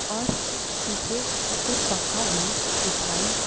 और पीछे ऊपर पंखा भी दिखाई--